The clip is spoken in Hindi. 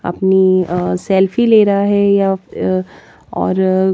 अपनी अअ सेल्फी ले रहा हैया फि और--